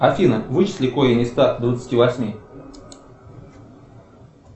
афина вычисли корень из ста двадцати восьми